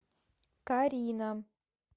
карина